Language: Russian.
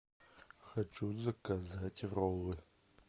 хочу заказать роллы